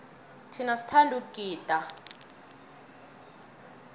thina sithanda ukugida